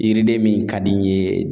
Yiriden min ka di n ye